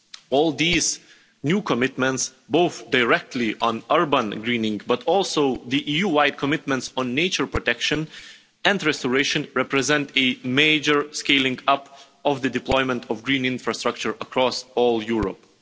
All these new commitments, both directly on urban greening but also the EU wide commitments on nature protection and restoration, represent a major scaling up of the deployment of green infrastructure across all of Europe.